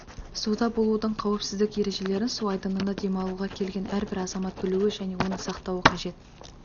суда болудың қауіпсіздік ережелерін су айдынына демалуға келген әр азамат білуі және оны сақтауы қажет